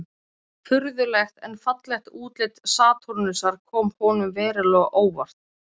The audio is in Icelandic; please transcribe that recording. Furðulegt en fallegt útlit Satúrnusar kom honum verulega á óvart.